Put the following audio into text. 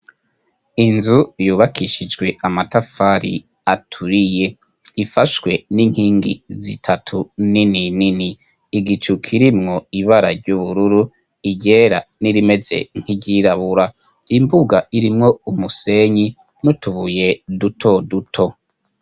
Inzu yubakishijwe amatafari aturiye, ifashwe n'inkingi zitatu nini nini. Igicu kirimwo ibara ry'ubururu, iryera n'irimeze nk'iryirabura. Imbuga irimwo umusenyi n' utubuye duto duto.